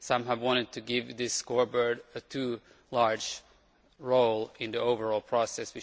Some have wanted to give this scoreboard too large a role in the overall process.